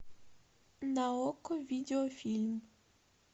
на окко видеофильм